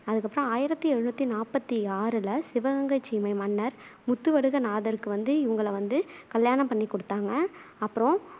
அதுக்கப்பறம் ஆயிரத்தி எழுநூத்தி நாப்பத்து ஆறுல சிவகங்கைச் சீமை மன்னர் முத்துவடுகநாதத்தேவருக்கு வந்து இவங்களை வந்து கல்யாணம் பண்ணி கொடுத்தாங்க அப்பறம்